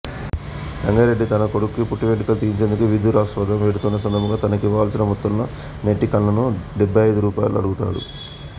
రంగారెడ్డి తన కొడుకుకి పుట్టువెంట్రుకలు తీయించేందుకు విదురాశ్వార్థం వెడుతున్న సందర్భంగా తనకివ్వవలసిన మొత్తంలో నెట్టికల్లును డెబై్బఅయిదు రూపాయలు అడుగుతాడు